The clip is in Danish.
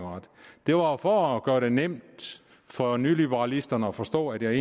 der var for at gøre det nemt for nyliberalisterne at forstå at jeg